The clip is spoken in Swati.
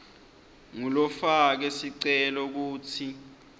ngulofake sicelo kutsi